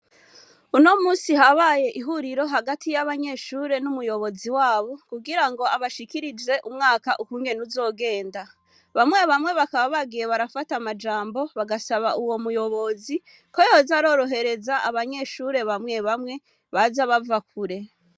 Unomusi habaye ihuriro hagati y'abanyeshure n'umuyobozi wabo ,kugira ngo abashikirize ukungene umwaka uzogenda, bamwe bamwe bakaba bagiye barafata amajambo, bagasaba umuyobozi ko yoza arorohereza abanyeshure bamwe bamwe, baza bava kure.